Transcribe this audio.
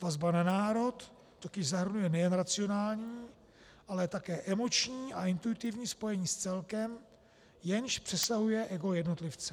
Vazba na národ totiž zahrnuje nejen racionální, ale také emoční a intuitivní spojení s celkem, jenž přesahuje ego jednotlivce.